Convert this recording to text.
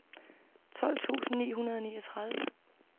tolv tusind ni hundrede og niogtredive